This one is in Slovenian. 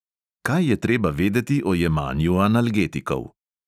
Kaj je treba vedeti o jemanju analgetikov?